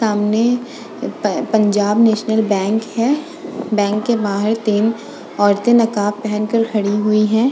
तामने प Punjab national bank है। Bank के बाहर तीन औरतें नकाब पहनकर खड़ी हुई हैं।